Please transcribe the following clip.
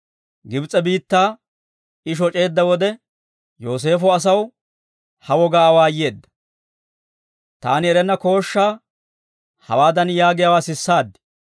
Gibs'e biittaa I shoc'eedda wode, Yooseefo asaw ha wogaa awaayeedda. Taani erenna kooshshaa hawaadan yaagiyaawaa sisaad.